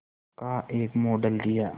का एक मॉडल दिया